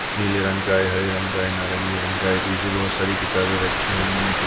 नीले रंग का हरे रंग नारंगी रंग का है पीछे बहुत सारी किताबें रखी हुई है--